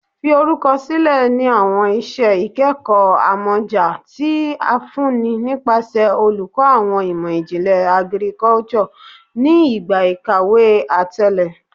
Fi orukọ silẹ ni awọn iṣẹ ikẹkọ amọja ti a funni nipasẹ Olukọ Awọn Imọ-jinlẹ Agriculture ni igba ikawe atẹle